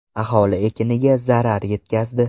Aholi ekiniga zarar yetkazdi.